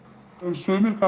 sumir